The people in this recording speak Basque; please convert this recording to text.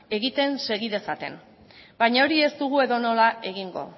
egiten segi dezaten baina hori ez dugu edonola egingo